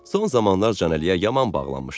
Son zamanlar Canəliyə yaman bağlanmışdım.